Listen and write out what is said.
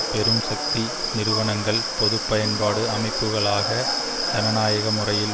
பெரும் சக்தி நிறுவனங்கள் பொது பயன்பாடு அமைப்புக்களாக ஜனநாயக முறையில்